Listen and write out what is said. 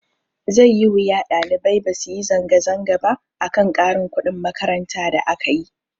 Zai yi wuya ɗalibai basu yi zanga zanga ba akan ƙarin kuɗin makaranta da akayi.